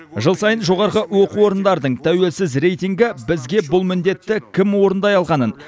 жыл сайын жоғары оқу орындарының тәуелсіз рейтингі бұл міндетті кім орындай алғанын